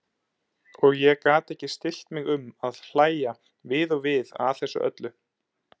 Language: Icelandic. Og ég gat ekki stillt mig um að hlægja við og við að þessu öllu.